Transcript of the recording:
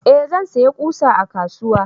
eh zan saya ƙusa a kasuwa